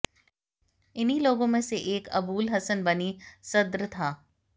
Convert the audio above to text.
इन्हीं लोगों में से एक अबूल हसन बनी सद्र था